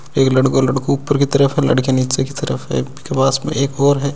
एक लड़को लड़को ऊपर की तरफ है लड़किया नीचे की तरफ है बीके पास में एक और है।